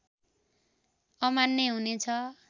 अमान्य हुने छ